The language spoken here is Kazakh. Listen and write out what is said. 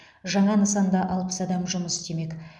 жаңа нысанда алпыс адам жұмыс істемек